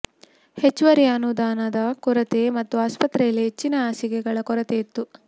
ಹೆಚ್ಚುವರಿ ಅನುದಾನದ ಕೊರತೆ ಮತ್ತು ಆಸ್ಪತ್ರೆಯಲ್ಲಿ ಹೆಚ್ಚಿನ ಹಾಸಿಗೆಗಳ ಕೊರತೆ ಇತ್ತು